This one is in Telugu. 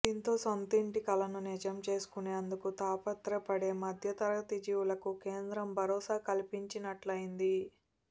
దీంతో సొంతింటి కలను నిజం చేసుకునేందుకు తాపత్రయపడే మధ్య తరగతి జీవులకు కేంద్రం భరోసా కల్పించినట్టయ్యింది